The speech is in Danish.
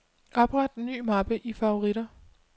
Opret ny mappe i favoritter.